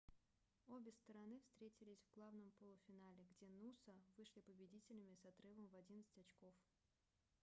обе стороны встретились в главном полуфинале где нуса вышли победителями с отрывом в 11 очков